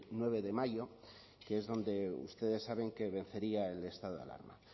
nueve de mayo que es donde ustedes saben que vencería el estado de alarma